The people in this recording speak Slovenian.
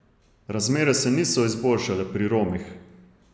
Razmere se niso izboljšale pri Romih.